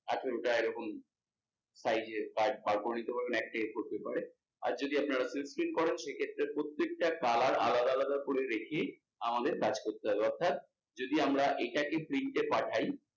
আঠেরোটা এরকম size এর card বের করে নিতে পারবেন একটা A4 paper, আর যদি আপনারা করেন সেক্ষেত্রে প্রত্যেকটা colour আলাদা আলাদা করে রেখে আমাদের কাজ করতে হবে অর্থাৎ যদি আমরা এটাকে print এ পাঠায়